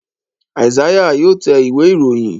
Isaiah yóò tẹ̀ Ìwé-ìròyìn.